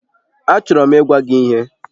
Achọrọ m ịgwa gị ihe